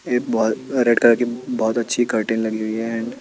एक ball red कलरकी बहोत अच्छी कर्टेन लगी हुयी है अँड --